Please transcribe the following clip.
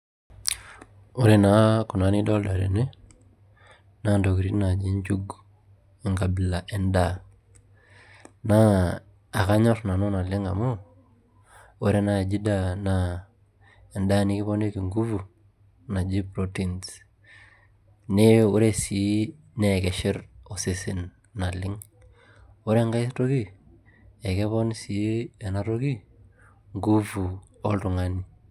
Ore naa kuna nidolta tene naa intokitin naaji njugu enkabila endaa naa akanyorr nanu naleng' amu ore naaji ena daa naa endaa nikiponiki nguvu naji proteins naa ore sii naa keshet osesen naleng', ore enkae toki naa ekepon sii ena toki nguvu oltung'ani.